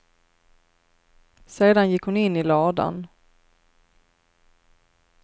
Sedan gick hon in i ladan.